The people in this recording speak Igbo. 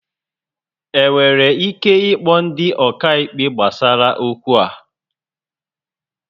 E nwere ike ịkpọ ndị ọkaikpe gbasara okwu a